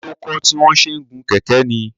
Ṣé ó kọ́ tí wọ́n ṣe ń gun kẹ̀kẹ́ ní?